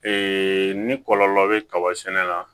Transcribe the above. ni kɔlɔlɔ bɛ kaba sɛnɛ